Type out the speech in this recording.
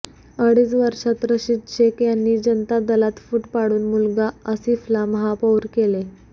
अडीच वर्षात रशीद शेख यांनी जनता दलात फूट पाडून मुलगा आसिफला महापौर केले